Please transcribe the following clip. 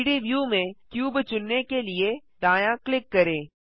3डी व्यू में क्यूब चुनने के लिए दायाँ क्लिक करें